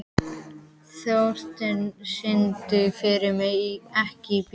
Þórsteina, syngdu fyrir mig „Ekki bíl“.